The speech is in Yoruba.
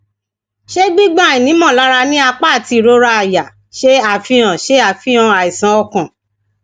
ṣe gbigbọn aini molara ni apa ati irora àyà ṣe afihan ṣe afihan aisan okan